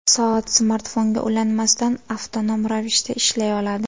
Soat smartfonga ulanmasdan, avtonom ravishda ishlay oladi.